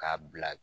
K'a bila